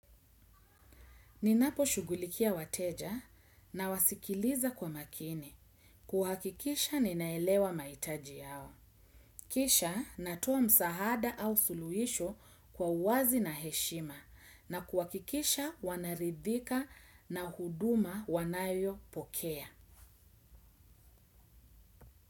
Ninaposhugulikia wateja, nawasikiliza kwa makini. Kuhakikisha ninaelewa mahitaji yao. Kisha, natoa msaada au suluhisho kwa uwazi na heshima. Na kuhakikisha wanaridhika na huduma wanayopokea.